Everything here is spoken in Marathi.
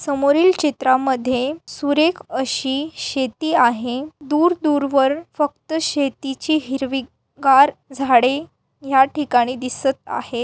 समोरील चित्रामध्ये सुरेख अशी शेती आहे दूर-दूर वर फक्त शेतीची हिरवी गार झाडे या ठिकाणी दिसत आहे.